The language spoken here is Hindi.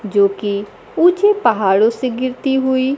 जोकि ऊंचे पहाड़ों से गिरती हुई--